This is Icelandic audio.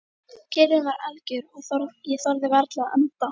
Kyrrðin var algjör og ég þorði varla að anda.